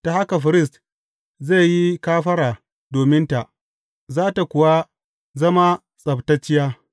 Ta haka firist zai yi kafara dominta, za tă kuwa zama tsabtacciya.